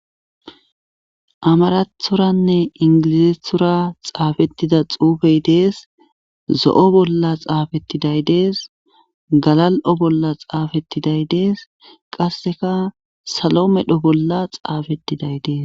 amarathoranne ingilizeethora xaafettida xuufey dees zo7o bolla xaafettiday dees galal7o bolla xaafettiday dees qasseka salo medho bolla xaafettiday dees